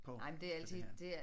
På på det her